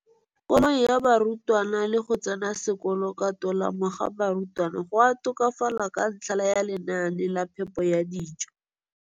kolong ga barutwana le go tsena sekolo ka tolamo ga barutwana go a tokafala ka ntlha ya lenaane la phepo ya dijo.